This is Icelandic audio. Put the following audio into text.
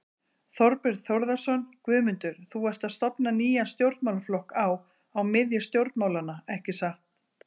Þorbjörn Þórðarson: Guðmundur, þú ert að stofna nýjan stjórnmálaflokk á, á miðju stjórnmálanna, ekki satt?